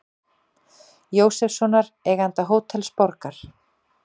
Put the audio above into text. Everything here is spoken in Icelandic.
Jósefssonar, eiganda Hótels Borgar.